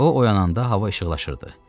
O oyananda hava işıqlaşırdı.